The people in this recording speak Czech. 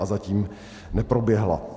A zatím neproběhla.